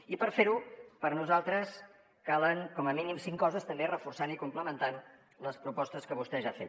i per fer ho per nosaltres calen com a mínim cinc coses també reforçant i complementant les propostes que vostè ja ha fet